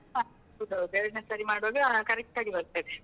ಹ ಹೌದ್ ಹೌದು ಎರಡ್ನೇಸರಿ ಮಾಡುವಾಗ correct ಆಗಿ ಬರ್ತದೆ.